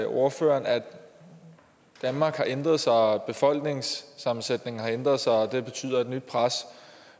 ordføreren at danmark har ændret sig og at befolkningssammensætningen har ændret sig og at det betyder et nyt pres